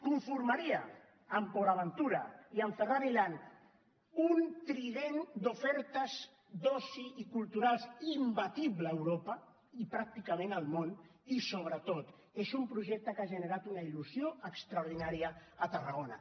conformaria amb port aventura i amb ferrari land un trident d’ofertes d’oci i culturals imbatible a europa i pràcticament al món i sobretot és un projecte que ha generat una il·lusió extraordinària a tarragona